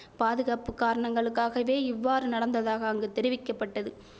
பாதுகாப்பு காரணங்களுக்காகவே இவ்வாறு நடந்ததாக அங்கு தெரிவிக்க பட்டது